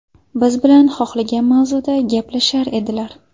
Biz bilan xohlagan mavzuda gaplashar edilar.